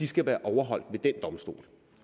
skal være overholdt ved den domstol